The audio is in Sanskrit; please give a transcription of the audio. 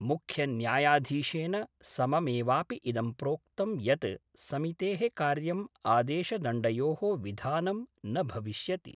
मुख्यन्यायधीशेन सममेवापि इदं प्रोक्तं यत् समितेः कार्यं आदेशदण्डयोः विधानं न भविष्यति।